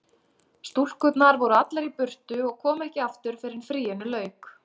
Stúlkurnar voru allar í burtu og komu ekki aftur fyrr en fríinu lauk.